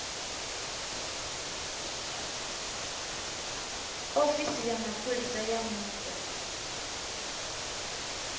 ofisi ya mapholisa ya vhupo